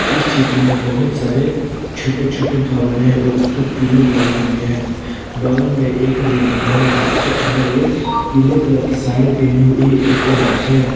इस चित्र में बहुत सारे छोटे छोटे भवन है और उसके पिलर लगी हुई है बगल में एक रेलिंग है जिसके अंदर एक पीले कलर की साड़ी पहने हुई एक औरत है।